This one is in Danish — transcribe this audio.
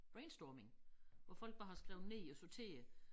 Brainstorming hvor folk bare har skrevet ned og sorteret